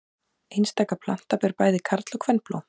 Einstaka planta ber bæði karl- og kvenblóm.